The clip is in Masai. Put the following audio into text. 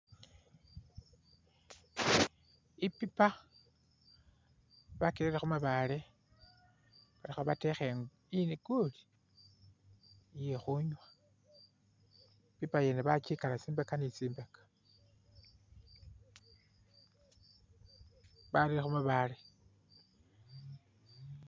Ipipa, bakirere khu mabaale bali khabateekha inguli iye khunywa, ipipa ngene bakikala tsimaande ne tsimaande, barere khumabaale.